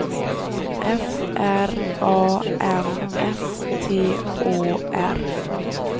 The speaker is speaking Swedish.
F R A M S T Å R